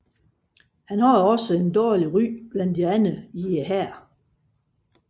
Han havde også et dårligt ry blandt andre i hæren